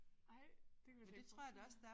Ej det kan